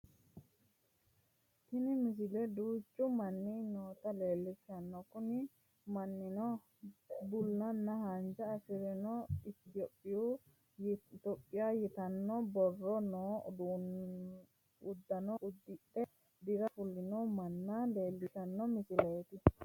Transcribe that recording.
Tini misile duuchu manni noota leellishshanno kunni mannino bullanna haanja afalchoho itiyophiya yitanno borro noo uddanno uddidhe dira fulino manna leellishshanno misileeti